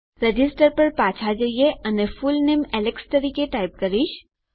register પર પાછા જઈએ અને ફૂલનેમ એલેક્સ તરીકે ટાઈપ કરીશ